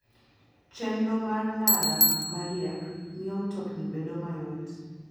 Chenro mar ndara ma riek miyo mtokni bedo mayot.